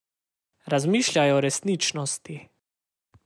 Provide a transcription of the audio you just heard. Razmišljaj o resničnosti.